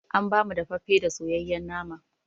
An ba mu daffafe da soyayen nama